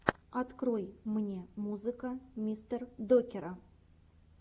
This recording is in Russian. открой мне музыка мистердокера